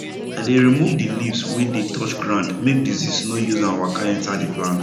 i dey remove the leaves wey dey touch ground make disease no use am waka enter the plant